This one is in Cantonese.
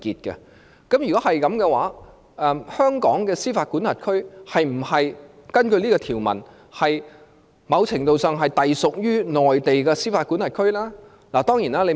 如果是這樣推論的話，則香港的司法管轄區是否根據這項條文，某程度上是隸屬於內地的司法管轄區呢？